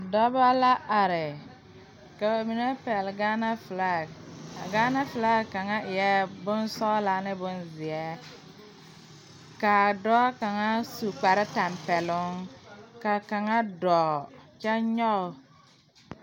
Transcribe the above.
Dɔbɔ la are ka ba mine pɛgle gaana flak a gaana flak kaŋa eɛɛ bonsɔglaa ne bonzeɛ kaa dɔɔ kaŋa su kparetapɛloŋ kaa kaŋa dɔɔ kyɛ nyoge.